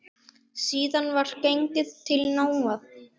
Síðan var gengið til náða.